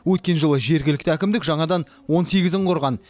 өткен жылы жергілікті әкімдік жаңадан он сегізін құрған